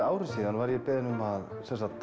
ári síðan var ég beðinn um að